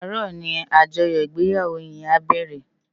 Àárò ni ájòyò igbéyáwó yèn á bèrè lòlá